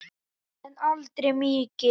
En aldrei mikið.